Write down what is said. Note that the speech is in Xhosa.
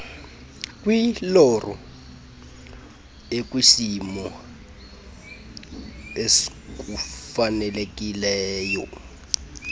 kwiloro ekwisimo sokufaneleka